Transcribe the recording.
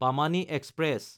Pamani express